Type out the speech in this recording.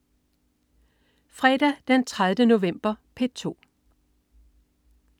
Fredag den 30. november - P2: